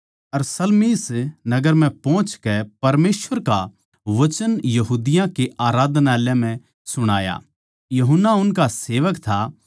अर Salamis नगर म्ह पोहचकै परमेसवर का वचन यहूदियाँ के आराधनालयाँ म्ह सुणाया यूहन्ना उनका सेवक था